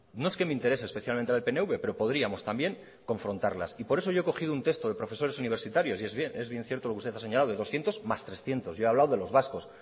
no es que me interese especialmente la de el pnv pero podríamos también confrontarlas y por eso yo he cogido un texto de profesores universitarios y es bien cierto lo que usted ha señalado es doscientos más hirurehun yo he hablado de los vascos